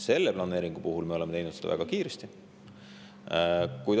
Selle planeeringu puhul me oleme teinud seda väga kiiresti.